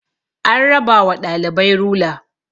an raba wa ɗalibai rula